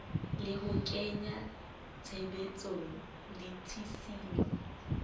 le ho kenya tshebetsong ditshisinyo